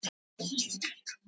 Og stóðst prófið með glans.